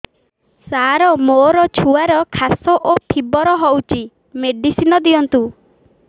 ସାର ମୋର ଛୁଆର ଖାସ ଓ ଫିବର ହଉଚି ମେଡିସିନ ଦିଅନ୍ତୁ